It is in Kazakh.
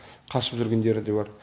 қашып жүргендері де бар